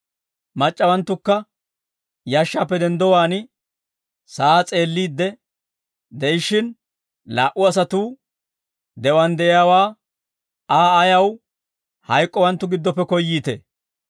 Mac'c'awanttukka yashshaappe denddowaan sa'aa s'eelliidde de'ishshin, laa"u asatuu, «De'uwaan de'iyaawaa, Aa ayaw hayk'k'owanttu giddoppe koyyiitee?